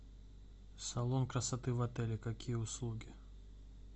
салон красоты в отеле какие услуги